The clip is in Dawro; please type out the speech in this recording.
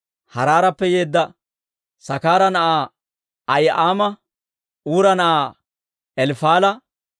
Haaraarappe yeedda Sakaara na'aa Ahi'aama, Uura na'aa Elifaala,